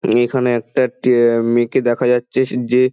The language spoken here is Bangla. এখানে একটা টে-এ মেয়েকে দেখা যাচ্ছে সে যে --